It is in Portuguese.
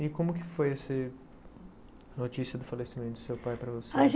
E como que foi esse notícia do falecimento do seu pai para você?